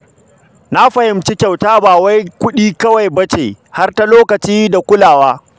Na fahimci kyauta ba wai ta kuɗi kawai ba ce, har da lokaci da kulawa.